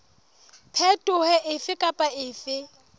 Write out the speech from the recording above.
phetoho efe kapa efe e